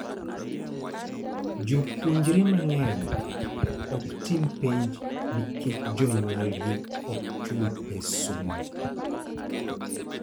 Jopuonjre mang'eny ok tim penj nikech jonyuolgi ok chul pes somo.